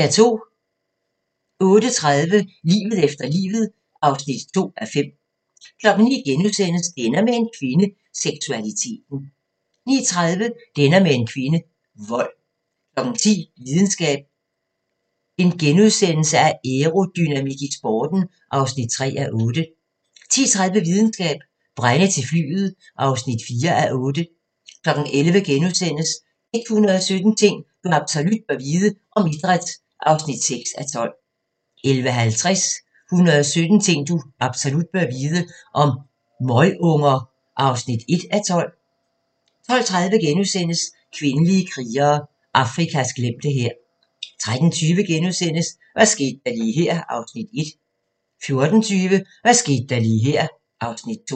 08:30: Livet efter livet (2:5) 09:00: Det ender med en kvinde – Seksualiteten * 09:30: Det ender med en kvinde – Vold 10:00: Videnskab: Aerodynamik i sporten (3:8)* 10:30: Videnskab: Brænde til flyet (4:8) 11:00: 117 ting du absolut bør vide - om idræt (6:12)* 11:50: 117 ting du absolut bør vide - om møgunger (1:12) 12:30: Kvindelige krigere: Afrikas glemte hær * 13:20: Hvad skete der lige her? (Afs. 1)* 14:20: Hvad skete der lige her (Afs. 2)